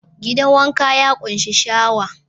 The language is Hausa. Gidan wanka ya ƙunshi shawa.